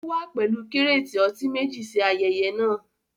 Ó wá pẹ̀lú kírátì ọtí meji ṣí ayẹyẹ náà